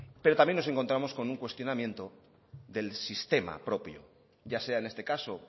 pero también nos encontramos con un cuestionamiento del sistema propio ya sea en este caso